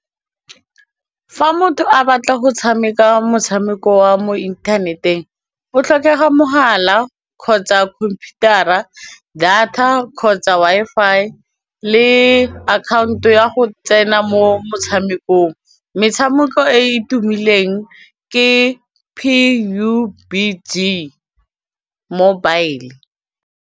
Fa motho a batla go tshameka motshameko wa mo inthaneteng o tlhokega mogala kgotsa computer-a data kgotsa Wi-Fi le akhaonto ya go tsena mo motshamekong, metshameko e e tumileng ke P_U_B_G mobile.